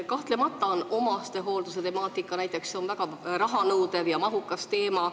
Kahtlemata on omastehooldus väga rahanõudev ja töömahukas valdkond.